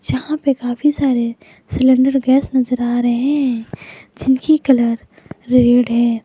जहां पे काफी सारे सिलेंडर गैस नजर आ रहे हैं जिनकी कलर रेड है।